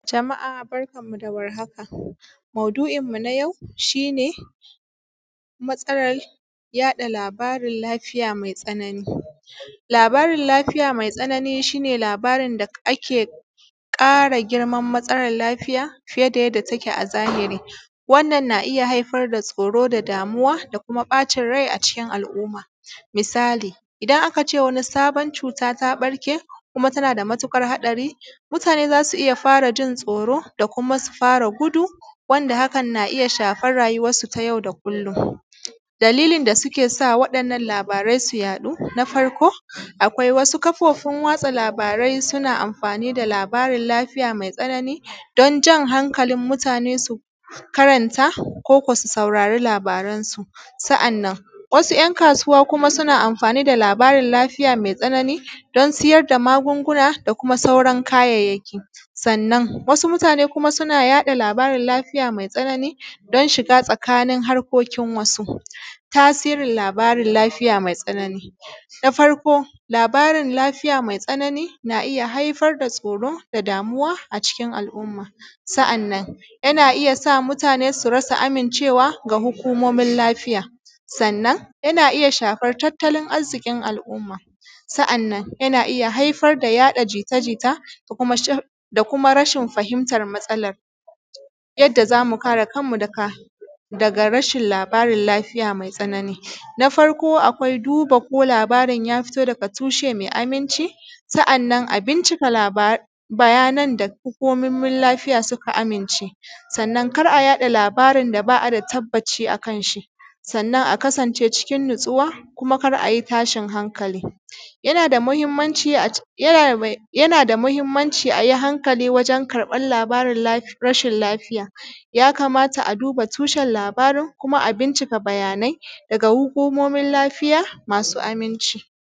Jama’a barkanmu dawar haka maudu’inmu na yau shine matsalar yaɗa labarin mai tsanani. Labarin matsalan lafiya mai tsanani shine labarin, dake ƙara girman matsalan lafiya fiye da yadda take a zahiri. Wannan yana haifarda tsoro, damuwa da kuma da kuma ɓacin rai a cikin al’umma. Misali idan a kace wani sabon cuta, ta ɓarke kuma tanada matuƙar haɗari mutane zasu iyya farajin tsoro da kuma guduwa wanda hakan na iyya shafar rayuwan su ta yau da kullum. Dalilan da sukesa wa ‘yan’ nan labaran su yaɗu na farko wasu kafofin watsa labarai suna amfani da labarin lafiya mai tsanani danjan hankalin mutane su karanta ko kuma su saurari labaran su. Sa’annan wasu ‘yan’ kasuwa suna amfani da labarin lafiya mai tsanani dan sayar da magunguna da kuma sauran kayayyaki. Sannan wasu mutane kuma suna yaɗa labarin lafiya mai tsanani dan shiga tsakani a harkokin wasu. Tasiri na labarin lafiya mai tsanani na farko labarin lafiya mai tsanani na iyya haifarda tsoro da damuwa a cikin al’umma sa’annan yana iyya sa mutane su rasa amincewa da hukumomin lafiya, sannan yana iyya shafar tattalin arzikin al’umma, sa’annan yana iyya haifar da yaɗa jijita da kuma rashin fahimtan matsalan. Yadda zamu kare kanmu daga labarin lafiya mai tsanani na farko akwai duba ko labarin yafito daga tushe na aminci sa’anan a binciki labaran daga hukumomin lafiya masu aminci, sanan kar’a yaɗa labaran da ba’a tabbaci akanshi. Sannan a kasance cikin natsuwa kuma kar’ayi tashin hankali, yanada mahimmanci ai hanakali wajen karɓan labarin rashin lafiya. Yakamata a duba tushen labarin kuma a binciki bayanan daga hukumomin lafiya masu aminci.